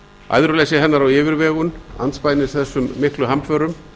æðruleysi hennar og yfirvegun andspænis þessum hamförum